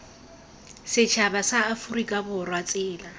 setšhaba sa aforika borwa tsela